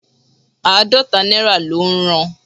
Àádọ́ta náírà ló ń ran